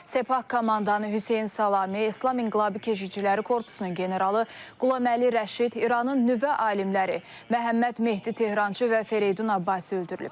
Sepah komandanı Hüseyn Salami, İslam İnqilabı Keşikçiləri Korpusunun generalı Qulaməli Rəşid, İranın nüvə alimləri Məhəmməd Mehdi Tehrançı və Fereydun Abbasi öldürülüb.